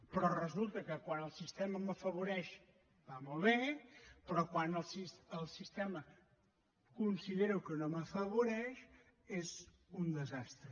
però resulta que quan el sistema m’afavoreix va molt bé però quan el sistema considero que no m’afavoreix és un desastre